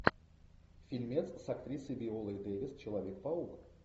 фильмец с актрисой виолой дэвис человек паук